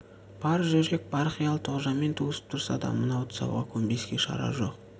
бар жүрек бар қиялы тоғжанмен туысып тұрса да мынау тұсауға көнбеске шара жоқ